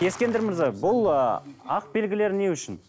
ескендір мырза бұл ы ақ белгілер не үшін